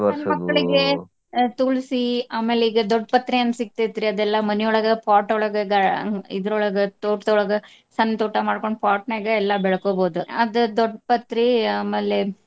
ಮಕ್ಳಿಗೆ ಸಣ್ಣ ಮಕ್ಳಿಗೆ ಆಹ್ ತುಳಸಿ ಆಮೇಲೆ ಈಗ ದೊಡ್ಡ ಪತ್ರಿ ಅಂತ ಸಿಗ್ತೇತ್ರಿ ಅದೆಲ್ಲಾ ಮನಿಯೊಳಗ pot ಒಳಗ ಗಾ ಆಹ್ ಇದ್ರೋಳಗ ತೋಟದೊಳಗ. ಸಣ್ಣ ತೋಟಾ ಮಾಡ್ಕೊಂಡ pot ನ್ಯಾಗ ಎಲ್ಲಾ ಬೆಳಕೋಬಹುದ. ಅದ ದೊಡ್ಡ ಪತ್ರಿ ಆಮ್ಯಾಲೆ.